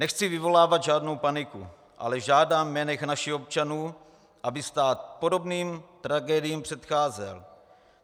Nechci vyvolávat žádnou paniku, ale žádám jménem našich občanů, aby stát podobným tragédiím předcházel.